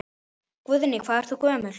Guðný: Hvað ert þú gömul?